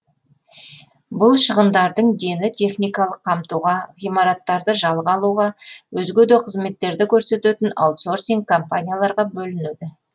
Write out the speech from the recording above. бұл шығындардың дені техникалық қамтуға ғимараттарды жалға алуға өзге де қызметтерді көрсететін аутсорсинг компанияларға бөлінеді